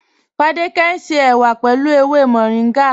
Fádẹkẹ̀ ń ṣe èwà pẹ̀lú èwè Mọ̀ríngá.